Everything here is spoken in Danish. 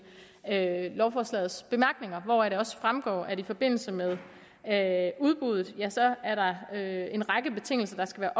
lovforslaget hvoraf det også fremgår at der i forbindelse med udbuddet er en række betingelser der skal